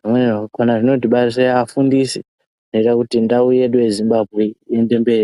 zvimweni zvakona zvinotibarire afundisi zvoita kuti ndau yedu yeZimbabwe iyende mberi.